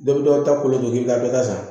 Dɔ bɛ dɔw ta kolon don k'i ka dɔ ta san